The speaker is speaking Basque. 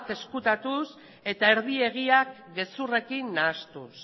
ezkutatuz eta erdi egiak gezurrekin nahastuz